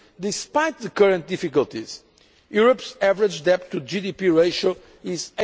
Despite the current difficulties, Europe's average debt to GDP ratio